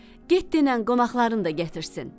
Get dinən qonaqlarını da gətirsin.